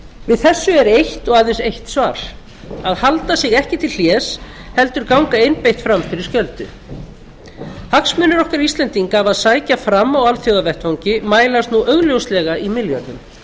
við þessu er eitt og aðeins eitt svar að halda sig ekki til hlés heldur ganga einbeitt fram fyrir skjöldu hagsmunir okkar íslendinga af að sækja fram á alþjóðavettvangi mælast nú augljóslega í milljörðum